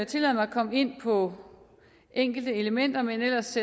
tillade mig at komme ind på enkelte elementer men ellers